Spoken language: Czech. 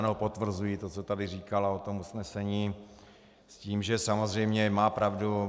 Ano, potvrzuji to, co tady říkala o tom usnesení, s tím, že samozřejmě má pravdu.